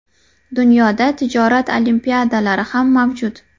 Dunyoda tijorat olimpiadalari ham mavjud.